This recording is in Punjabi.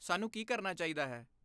ਸਾਨੂੰ ਕੀ ਕਰਨਾ ਚਾਹੀਦਾ ਹੈ?